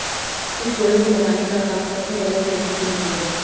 इस जोड़े को मिलाने का काम सबसे पहले फेसबुक ने किया